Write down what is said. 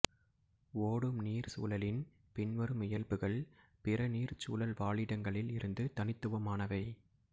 ஓடும் நீர் சூழலின் பின்வரும் இயல்புகள் பிற நீர்ச் சூழல் வாழிடங்களில் இருந்து தனித்துவமானவை